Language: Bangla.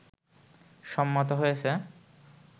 সম্মত হয়েছে